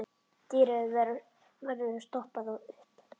Dýrið verður stoppað upp.